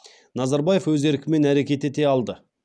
назарбаев өз еркімен әрекет ете алды